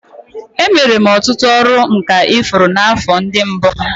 Emere m ọtụtụ ọrụ nka ifuru n'afọ ndị mbụ m